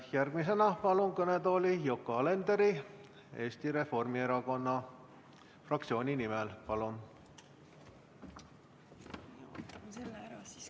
Järgmisena palun kõnetooli Yoko Alenderi Eesti Reformierakonna fraktsiooni nimel kõnelema.